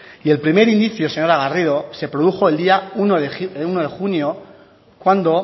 y el primer indicio señora garrido se produjo el día uno de junio cuando